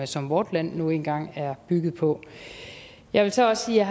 som vort land nu engang er bygget på jeg vil så også sige at